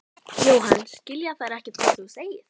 Jóhann: Skilja þeir ekkert hvað þú segir?